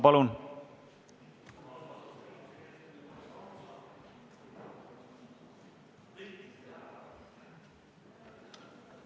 Palun!